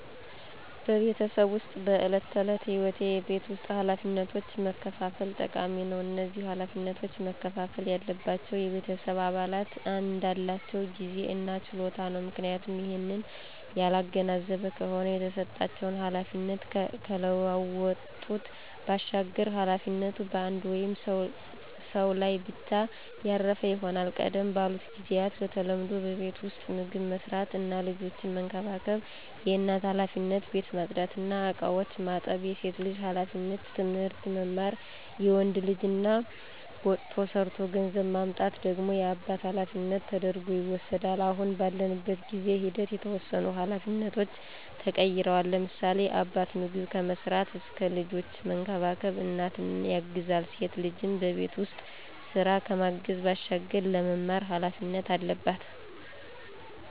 በቤተሰብ ዉስጥ በዕለት ተዕለት ህይወት የቤት ውስጥ ኃላፊነቶችን መከፋፈል ጠቃሚ ነው። እነዚህ ኃላፊነቶች መከፍፈል ያለባቸው የቤተሰብ አባላት እንዳላቸው ጊዜ እና ችሎታ ነው፤ ምክንያቱም ይህንን ያላገናዘበ ከሆነ የተሰጣቸውን ኃላፊነት ካለመወጣት ባሻገር ኃላፊነቱ በአንድ ወይም ሰው ላይ ብቻ ያረፈ ይሆናል። ቀደም ባሉት ጊዚያት በተለምዶ በቤት ዉስጥ ምግብ መስራት እና ልጆችን መንከባከብ የእናት ኃላፊነት፣ ቤት ማፅዳት እና እቃዎችን ማጠብ የሴት ልጅ ኃላፊነት፣ ትምህርት መማር የወንድ ልጅ እና ወጥቶ ሠርቶ ገንዘብ ማምጣት ደግሞ የአባት ኃላፊነት ተደርጐ ይወስዳል። አሁን ባለንበት በጊዜ ሂደት የተወሰኑ ኃላፊነቶች ተቀይረዋል፤ ለምሳሌ፦ አባት ምግብ ከመስራት እስከ ልጆችን መንከባከብ እናትን ያግዛል፣ ሴት ልጅም በቤት ውስጥ ስራ ከማገዝ ባሻገር ለመማር ኃላፊነት አለባት።